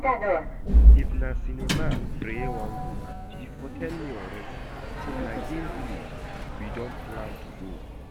If na cinema Preye wan go she for tell me already, but na game village we don plan to go